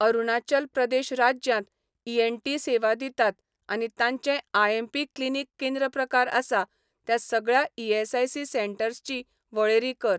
अरुणाचल प्रदेश राज्यांत ई.एन.टी सेवा दितात आनी तांचें आयएमपी क्लिनीक केंद्र प्रकार आसा त्या सगळ्या ईएसआयसी सेंटर्सची वळेरी कर.